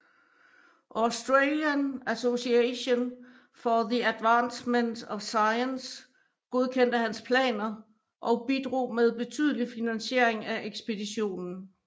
Australian Association for the Advancement of Science godkendte hans planer og bidrog med betydelig finansiering af ekspeditionen